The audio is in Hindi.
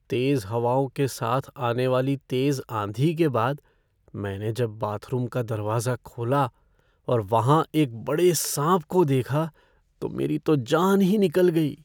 तेज हवाओं के साथ आने वाली तेज आंधी के बाद, मैंने जब बाथरूम का दरवाजा खोला और वहाँ एक बड़े सांप को देखा तो मेरी तो जान ही निकल गई।